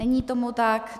Není tomu tak.